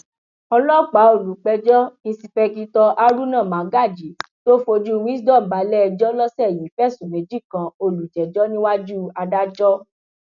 ọlọpàá olùpẹjọ ìǹṣìpẹkìtọ haruna magaji tó fojú wisdom balẹẹjọ lọsẹ yìí fẹsùn méjì kan olùjẹjọ níwájú adájọ